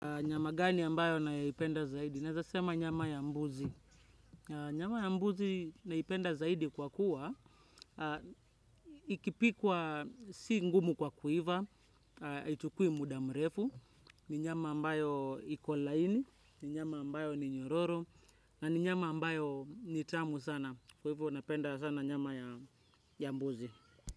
Nyama gani ambayo naipenda zaidi? Nawesema nyama ya mbuzi. Nyama ya mbuzi naipenda zaidi kwa kuwa, ikipikwa si ngumu kwa kuiva, ichukui muda mrefu, ni nyama ambayo iko laini, ni nyama ambayo ni nyororo, na ni nyama ambayo ni tamu sana, kuiva napenda sana nyama ya mbuzi.